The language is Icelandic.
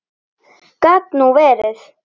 Gat nú verið!